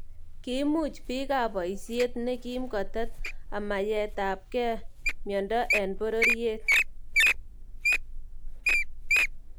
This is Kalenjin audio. Kiimuch biikaab boisyet nekiim kotet amayeitakey myondo en bororyeet